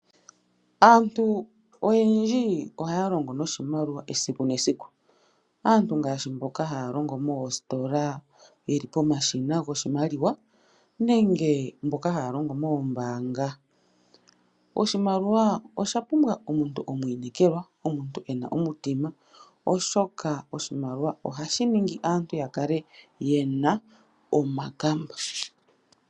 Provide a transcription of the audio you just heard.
Aantu oyendji ohaya longo niimaliwa esiku nesiku. Aantu ngaashi mboka haya longo moositola yeli pomashina goshimaliwa nenge mboka haya longo moombaanga . Oshimaliwa osha pumbwa omuntu omwiinekelwa, omuntu ena omutima oshoka oshimaliwa ohashi ningi aantu yakale yena omakamba.